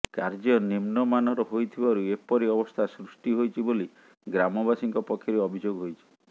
କାର୍ଯ୍ୟ ନିମ୍ନମାନର ହୋଇଥିବାରୁ ଏପରି ଅବସ୍ଥା ସୃଷ୍ଟି ହୋଇଛି ବୋଲି ଗ୍ରାମବାସୀଙ୍କ ପକ୍ଷରୁ ଅଭିଯୋଗ ହୋଇଛି